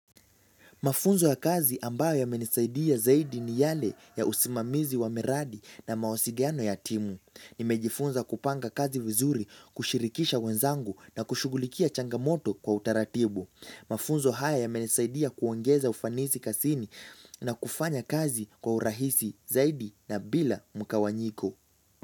Mafunzo ya kazi ambayo yamenisaidia zaidi ni yale ya usimamizi wa miradi na mawasiliano ya timu. Nimejifunza kupanga kazi vizuri, kushirikisha wenzangu na kushugulikia changamoto kwa utaratibu. Mafunzo haya ya menisaidia kuongeza ufanisi kazini na kufanya kazi kwa urahisi zaidi na bila mgawanyiko.